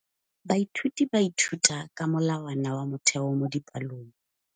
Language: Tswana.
Baithuti ba ithuta ka molawana wa motheo mo dipalong.